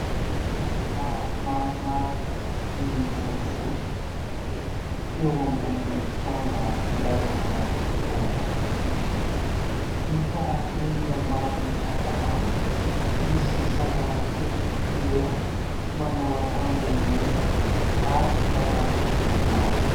Tovolahy maromaro mivorivory. Eo ambony kianja filalaovana baolina kitra. Hita ery ambany ankavanana, misy zazalahy kely iray manao akanjo mena ary pataloha manga.